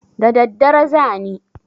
Da daddare za ni.